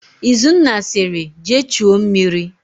Izunna sịrị, "jee chuo mmiri"!.